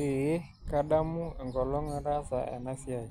Eee kadamu enkolong' nataasa ena siai,